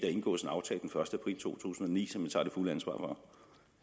indgås en aftale den første april to tusind og ni som